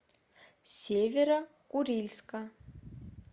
северо курильска